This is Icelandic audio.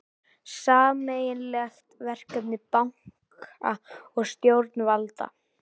Sameiginlegt verkefni banka og stjórnvalda